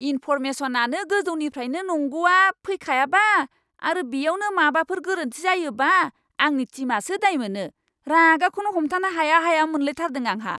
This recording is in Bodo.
इनफ'रमेसनआनो गोजौनिफ्रायनो नंगौआ फैखायाबा आरो बेयावनो माबाफोर गोरोन्थि जायोबा आंनि टिमआसो दायमोनो, रागाखौनो हमथानो हाया हाया मोनलायथारदों आंहा।